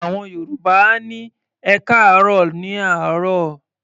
Àwọn Yorùbá á ní "ẹkáàárọ̀" ní àárọ̀.